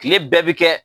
Kile bɛɛ bi kɛ